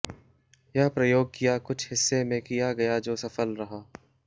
यह प्रयोग किया कुछ हिस्से में किया गया जो सफल रहा